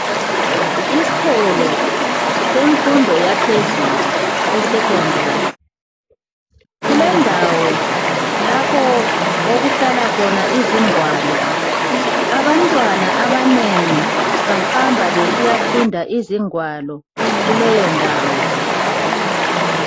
Iskolo semfundo yaphezulu, eSecondary, kulendawo lapho okuhlala khona izingwalo. Abantwana abanengi bahamba besiyafunda izingwalo kuleyondawo.